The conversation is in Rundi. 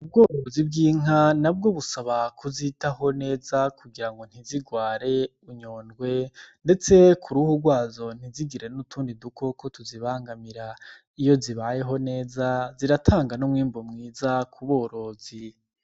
Ubworozi bw'inka nabwo busaba kuzitaho neza kugira ngo ntizigware inyondwi ndetse kuruhu gwazo ntizigire n' utundi dukoko tuzibangamira iyo zibayeho neza ziratanga n' umwimbu mwiza kuborozi.